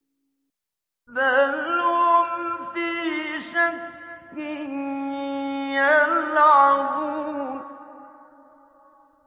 بَلْ هُمْ فِي شَكٍّ يَلْعَبُونَ